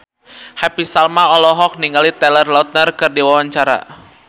Happy Salma olohok ningali Taylor Lautner keur diwawancara